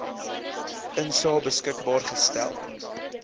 insae beskikbaar gestel